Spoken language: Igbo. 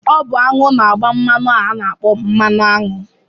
Ọ bụ aṅụ na-agba mmanụ a na-akpọ̣ mmanụaṅụ